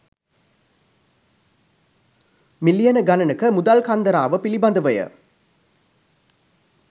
මිලියන ගණනක මුදල් කන්දරාව පිළිබඳවය.